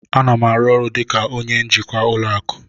A na m arụ ọrụ dị ka onye njikwa ụlọ akụ